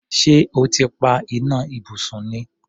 Ṣé o ti pa iná ibùsùn ni?